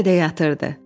Hələ də yatırdı.